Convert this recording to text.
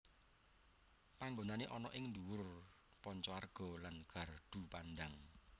Panggonane ana ing dhuwur Panca Arga lan Gardu Pandang